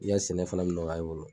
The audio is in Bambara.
I ka sɛnɛ fana bi nɔgɔya i bolo